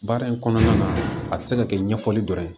Baara in kɔnɔna na a tɛ se ka kɛ ɲɛfɔli dɔrɔn ye